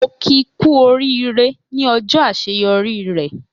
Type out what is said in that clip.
Mo ki ku orire ní ọjọ àṣeyọrí rẹ.